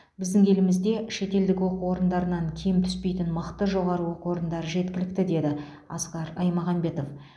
біздің елімізде шетелдік оқу орындарынан кем түспейтін мықты жоғары оқу орындары жеткілікті деді асқар аймағамбетов